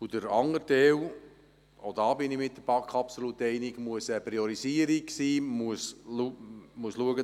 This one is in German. Der andere Teil – auch hier bin ich mit der BaK absolut einverstanden – muss eine Priorisierung sein.